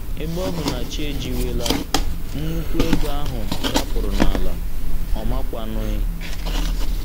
Ebe ọ bụ na chi ejiwela, nnùkwù ego ahụ dapụrụ n’ala, ọ makwanụghị.